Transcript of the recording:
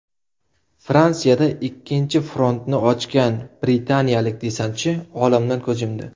Fransiyada ikkinchi frontni ochgan britaniyalik desantchi olamdan ko‘z yumdi.